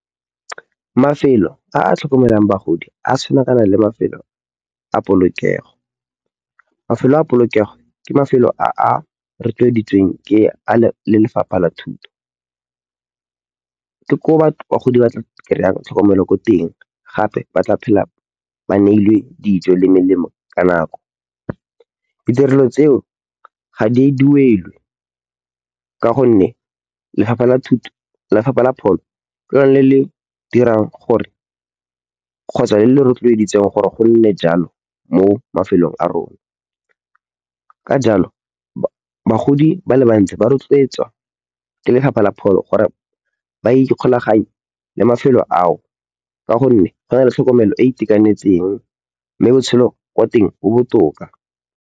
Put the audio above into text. Mafelo a a tlhokomelang bagodi a tshwana kana le mafelo a polokego. Mafelo a polokego ke mafelo a a rotloeditsweng ke a lefapha la thuto. Ke ko bagodi ba tla kry-ang tlhokomelo ko teng gape ba tla phela ba neilwe dijo le melemo ka nako. Ditirelo tseo ga di duelwe ka gonne lefapha la pholo ke lona le le dirang gore kgotsa le le rotloeditseng gore go nne jalo mo mafelong a rona. Ka jalo, bagodi ba le bantsi ba rotloetswa ke lefapha la pholo gore ba ikgolaganye le mafelo ao ka gonne go na le tlhokomelo e e itekanetseng mme botshelo kwa teng bo botoka.